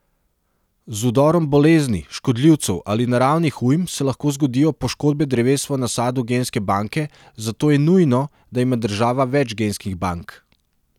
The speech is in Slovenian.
Z vdorom bolezni, škodljivcev ali naravnih ujm se lahko zgodijo poškodbe dreves v nasadu genske banke, zato je nujno, da ima država več genskih bank.